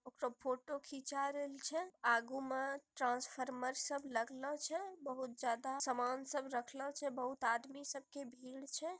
उ सब फोटो खींचा रहल छे| आगे में ट्रांसफार्मर सब लगलौ छे | बहुत ज्यादा सामान सब रखले छे | बहुत आदमी सबकी भीड़ छे ।